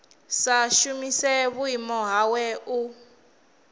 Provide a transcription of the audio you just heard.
sa shumise vhuimo hawe u